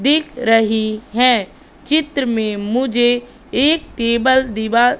दिख रही है चित्र में मुझे एक टेबल दिवा--